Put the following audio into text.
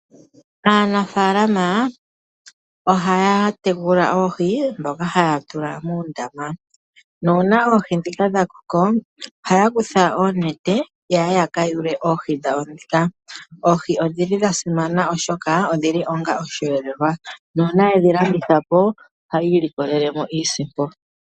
Aanafaalama ohaya tekula oohi ndhoka haya tula muundama. Nuuna oohi ndhika dha koko ohaya kutha oonete yaye ya kayule dhawo ndhika. Oohi odhili dha simana oshoka odhili onga osheelelwa. Nuuna yedhi landitha po ohaya ilikolele iisimpo.